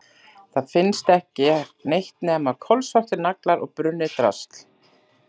Það finnst ekki neitt nema kolsvartir naglar og brunnið drasl.